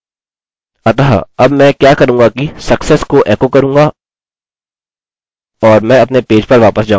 अतः अब मैं क्या करूँगा कि success को एको करूँगा और मैं अपने पेज पर वापस जाऊँगा